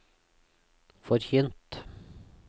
forkynt